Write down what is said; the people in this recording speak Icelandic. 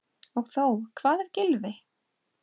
Og þó Hvað ef Gylfi.